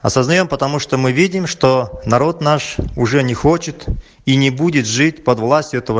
а создаём потому что мы видим что народ наш уже не хочет и не будет жить под властью этого